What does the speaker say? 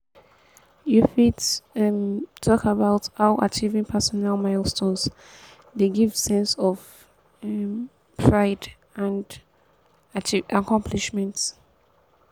you fit um talk about how achieving personal milestones dey give sense of um pride and um accomplishment.